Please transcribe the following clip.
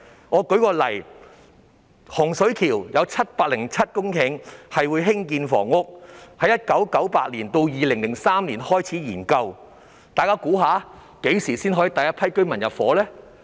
我舉例，洪水橋有707公頃土地規劃用作興建房屋，項目由1998年至2003年便開始研究，但大家猜猜何時才可以有第一批居民入伙呢？